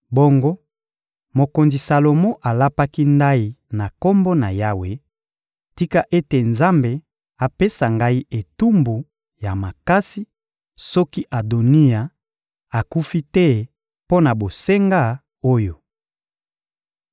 Bongo, mokonzi Salomo alapaki ndayi na Kombo na Yawe: — Tika ete Nzambe apesa ngai etumbu ya makasi soki Adoniya akufi te mpo na bosenga oyo!